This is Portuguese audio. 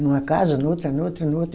Numa casa, noutra, noutra, noutra.